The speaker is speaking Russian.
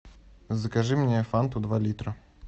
закажи мне фанту два литра